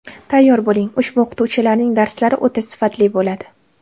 Tayyor bo‘ling, ushbu o‘qituvchilarning darslari o‘ta sifatli bo‘ladi!